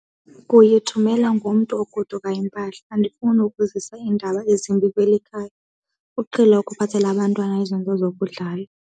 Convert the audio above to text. Kuyithumela ngomntu ogodukayo impahla. Andifuni ukuzisa iindaba ezimbi kweli khaya, uqhele ukuphathela abantwana izinto zokudlala.